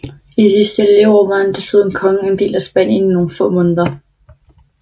I sit sidste leveår var han desuden konge af en del af Spanien i nogle få måneder